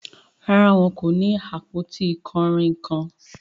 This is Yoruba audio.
Rárá, wọn kò ni awọn apọ̀tí kanrínnkan.